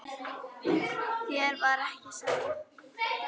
Þér var ekki sama.